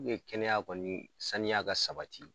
U ye kɛnɛya kɔni saniya ka sabati